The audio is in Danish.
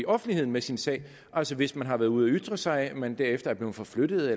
offentligheden med sin sag altså hvis man har været ude at ytre sig men derefter er blevet forflyttet